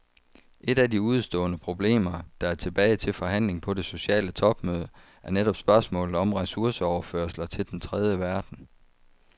Et af de udestående problemer, der er tilbage til forhandling på det sociale topmøde, er netop spørgsmålet om ressourceoverførsler til den tredje verden.